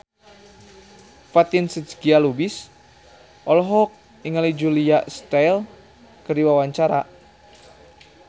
Fatin Shidqia Lubis olohok ningali Julia Stiles keur diwawancara